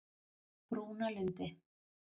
Brúnalundi